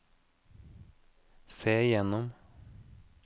se gjennom